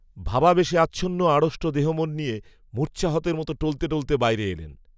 ভাবাবেশে আচ্ছন্ন আড়ষ্ট দেহমন নিয়ে, মূর্ছাহতের মতো টলতে টলতে বাইরে এলেন